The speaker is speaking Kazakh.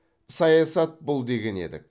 саясат бұл деген едік